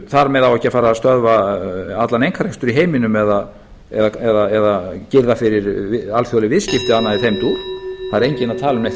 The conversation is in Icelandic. þar með á ekki að fara að stöðva allan einkarekstur í heiminum eða girða fyrir alþjóðleg viðskipti eða annað í þeim dúr það er enginn að tala um neitt